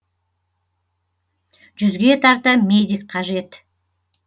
жүзге тарта медик қажет